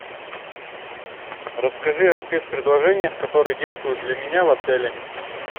расскажи о спец предложениях которые действуют для меня в отеле